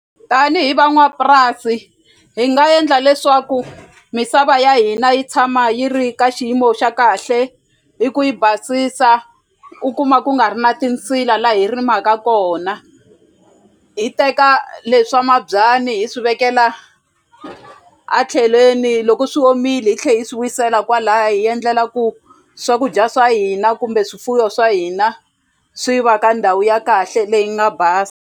Tanihi van'wapurasi hi nga endla leswaku misava ya hina yi tshama yi ri ka xiyimo xa kahle hi ku yi basisa u kuma ku nga ri na tinsila la hi rimaka kona hi teka leswa mabyanyi hi swi vekela a tlhelweni loko swi omile hi tlhe hi swi wisela kwalaya hi endlela ku swakudya swa hina kumbe swifuwo swa hina swi va ka ndhawu ya kahle leyi nga basa.